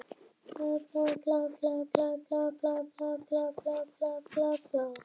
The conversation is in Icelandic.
Allt í einu langaði mig til að sjá mæður Hrannar og